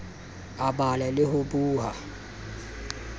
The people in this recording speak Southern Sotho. a bala le ho boha